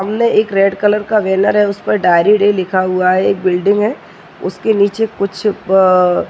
एक red colour का banner है उस पर डायरी डे लिखा हुआ है। एक बिल्डिंग है उसके नीचे कुछ प --